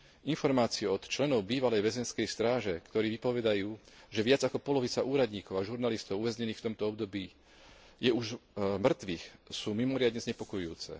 Informácie od členov bývalej väzenskej stráže, ktorí vypovedajú, že viac ako polovica úradníkov a žurnalistov uväznených v tomto období je už mŕtvych, sú mimoriadne znepokojujúce.